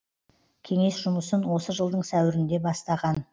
кеңес жұмысын осы жылдың сәуірінде бастаған